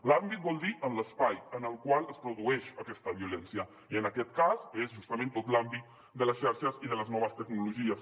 l’àmbit vol dir l’espai en el qual es produeix aquesta violència i en aquest cas és justament tot l’àmbit de les xarxes i de les noves tecnologies